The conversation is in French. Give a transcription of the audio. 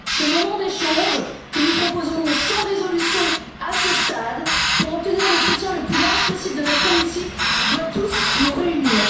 Ce moment d'échange, que nous proposons sans résolution à ce stade, pour obtenir le soutien le plus large possible de notre hémicycle, doit tous nous réunir.